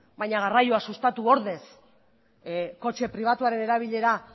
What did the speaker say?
baina garraioa sustatu ordez kotxe pribatuaren erabilera